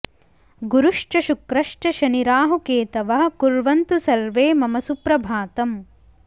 गुरुश्च शुक्रश्च शनि राहु केतवः कुर्वंतु सर्वे मम सुप्रभातम्